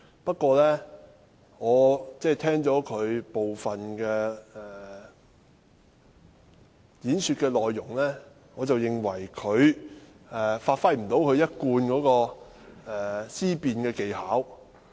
不過，聽罷他講辭的部分內容，我認為他不能發揮其一貫的思辯技巧。